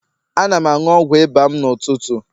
Ana m aṅụ ọgwụ ịba m n'ụtụtụ.